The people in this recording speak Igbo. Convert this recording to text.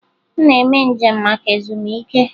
M na-eme njem maka ezumike.